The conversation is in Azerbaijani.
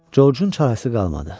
Corcun çarəsi qalmadı.